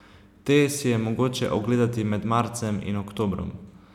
Te si je mogoče ogledati med marcem in oktobrom.